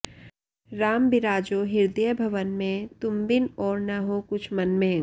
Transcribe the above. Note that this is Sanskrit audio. राम बिराजो हृदय भवन में तुम बिन और न हो कुछ मन में